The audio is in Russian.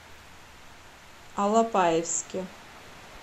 алапаевске